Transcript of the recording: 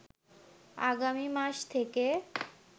আগামী মাস থেকে